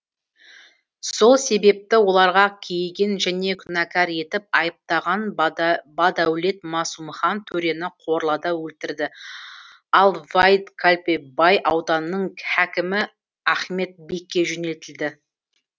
сол себепті оларға кейіген және күнәкар етіп айыптаған бадәулет масумхан төрені корлада өлтірді ал ваид қалпе бай ауданының хәкімі ахмет бекке жөнелтілді